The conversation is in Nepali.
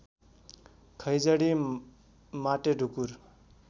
खैँजडी माटेढुकुर